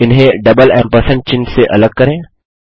इन्हें double ampersand चिह्न से अलग करें